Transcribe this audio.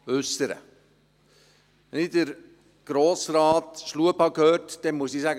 Wenn ich Grossrat Schlup gehört habe, muss ich sagen: